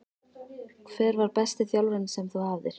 Hver var besti þjálfarinn sem þú hafðir?